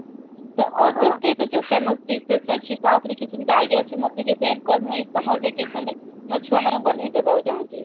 ତ other state ର ଯୋଉ famous dishes ଅଛି ତା ଉପରେ କିଛି ଯଦି idea ଅଛି ମତେ ଟିକେ share କର ମୁଁ ଏଇ summer vacation ରେ ମୋ ଛୁଆମାନଙ୍କୁ ବନେଇ ଦେବାକୁ ଚାହୁଁଛି